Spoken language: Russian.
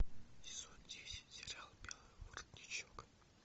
сезон десять сериал белый воротничок